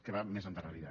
que va més endarrerida